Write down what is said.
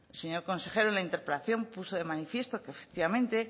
señor consejero la interpelación puso de manifiesto que efectivamente